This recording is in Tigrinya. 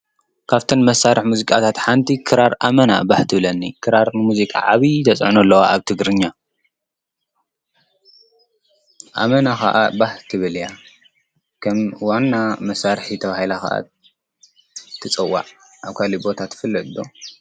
ካፍተን መሳርሕታት ሙዚቃ ክራር ኣመና ባህ ትብለኒ፡፡ ክራር ኣብ ሙዚቃ ዓብይ ተፅዕኖ ኣለዋ ኣብ ትግርኛ፡፡ ኣመና ከዓ ባህ ትብል እያ፡፡ ከም ዋና መሳርሒ ተባሂላ ኸዓ ትፅዋዕ፡፡ ኣብ ካልእ ቦታ ትፍለጥ ዶ?